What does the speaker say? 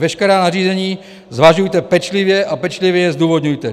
Veškerá nařízení zvažujte pečlivě a pečlivě je zdůvodňujte.